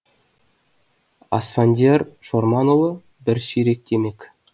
асфандияр шорманұлы бір ширек темекі